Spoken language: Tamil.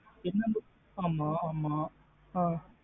என்ன book ஆமாஆமா ஆ